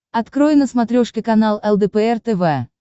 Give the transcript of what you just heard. открой на смотрешке канал лдпр тв